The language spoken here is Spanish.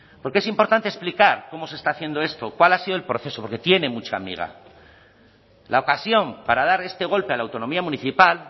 porque es importante explicar cómo se está haciendo esto cuál ha sido el proceso porque tiene mucha miga la ocasión para dar este golpe a la autonomía municipal